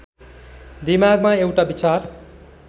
दिमागमा एउटा विचार